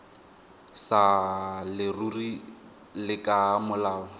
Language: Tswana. sa leruri le ka molao